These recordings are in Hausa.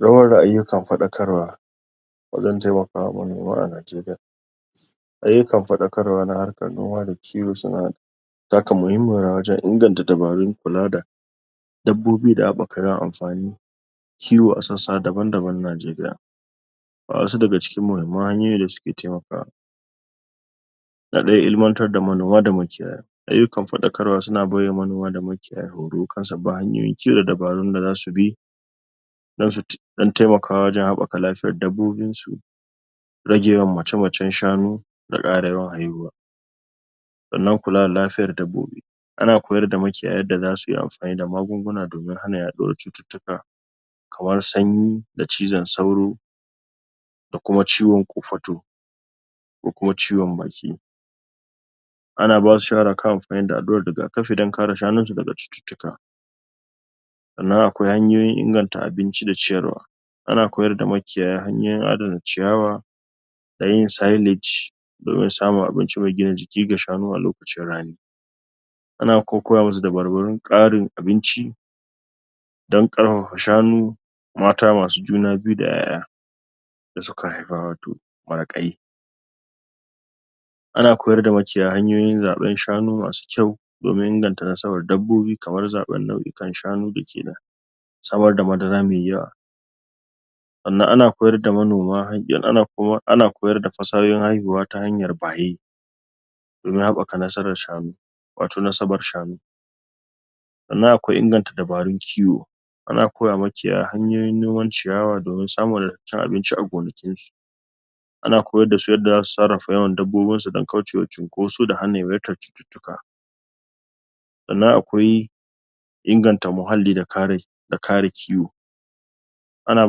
Zamar da ayyukan faɗakarwa wajen taimaka ma manoma a Najeriya ayyukan faɗakarwa na harkan noma da kiwo suna taka muhimmin rawa wajen inganta dabarun kula da dabbobi da abubuwan amfani kiwo a sassa daban-daban na Najeriya Ga wasu daga cikin muhimmun hanyoyin da suke taimakawa Na farko ilimantar da manoma da makiyaya ayyukan faɗakarwa suna bai wa manoma da makiyaya horo kan sabbin hanyoyin ci da dabarun da zasu bi don taimakawa wajen haɓaka lafiyan dabbobinsu rage yawan mace-macen shanu da ƙara yawan haihuwa sannan kula da lafiyan dabbobi ana koyar da makiyaya yadda zasu yi amfani da magunguna don hana yaɗuwan cututtuka kamar sanyi da cizon sauro da kuma ciwon kofato ko kuma ciwon baki ana basu shawara kan amfani da alluran rigakafi don kare shanun su daga cututtuka sannan akwai hanyoyin inganta abinci da ciyarwa ana koyar da makiyaya hanyoyin adana ciyawa da yi sillage domin samun abinci mai gina jiki ga shanu a lokacin ranni ana kuma koya musu dabarbarun ƙarin abinci don ƙarfafa shanu mata masu juna biyu da ƴaƴa da suka haifa watau maraƙai ana koyar da makiyaya hanyoyin zaɓan shanu masu kyau domin inganta nasabar dabbobi kamar zaɓan nau; ukan shanu da ke da samar da madara mai yawa sannan ana koyar da fasahohin haihuwa ta hanyar baye domin haɓaka nasabar sahanu watau nasabar shanu sannan akwai inganta dabarun kiwo sannan ana koya ma makiyaya noman ciyawa domin samun wadataccen abinci a goankinsu ana koyar da su yadda zasu sarrafa yawan dabbobinsu don kaucewa cunkoso da hana yawaitar cututtuka sannan akwai inganta muhalli da kare da kare kiwo ana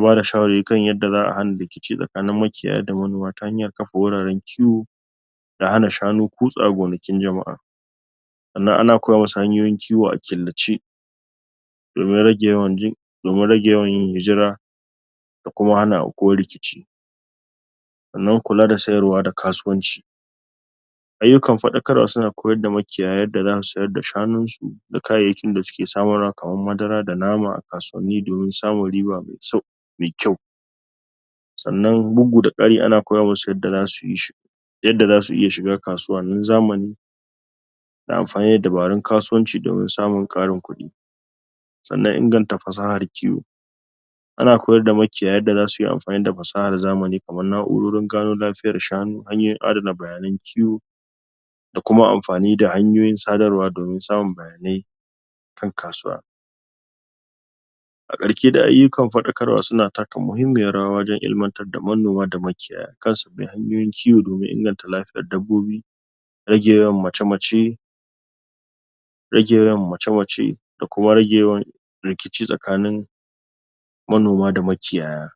bada shawari kan yadda za a hana rikici tsakanin makiyaya da manoma ta hanyar kafa wuraren kiwo da hana shanu kutsaya gonakin jama'a sannan ana koya musu hanyoyin kiwo a killace domin rage yawan domin rage yawan yin hijira da kuma hana aukuwan rikici sannan kula da sayarwa da kasuwanci ayyukan faɗakarwa suna koyar da makiyaya yadda zasu sayar da shanun su da kayayyakin da suke samarwa kaman madara da nama a ksauwanni domin samun riba nai kyau sanna bugu da ƙari ana koya musu yadda zasu yi shi yadda zasu iya shiga kasuwa na zamani da amfani da dabarun kasuwanci don samun ƙarin kuɗi sannan inganta fasahan kiwo ana koyar da makiyaya yadda zasu yi amfani da fasahar zamani kamar na'urorin gano lafiyan shanu hanyoyin adana bayanan kiwo da kuam amfani da hanyoyin sadarwa domin samun bayanai kan kasuwa a ƙarshe dai ayyukan faɗakarwa suna taka muhimmiyan rawa wajen ilimantar da manoma da makiyaya kan sabbin hanyoyin kiwo domin inganta lafiyar dabbobi rage yawan mace-mace rage yawan mace-mace da kuma rage yawa rikici tsakanin manoma da makiyaya